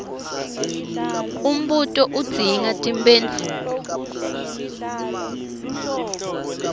umbuto udzinga timphendvulo